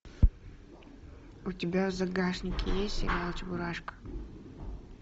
у тебя в загашнике есть сериал чебурашка